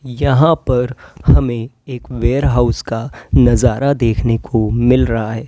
यहां पर हमें एक वेयरहाउस का नजारा देखने को मिल रहा है।